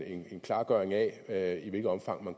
en klargøring af i hvilket omfang man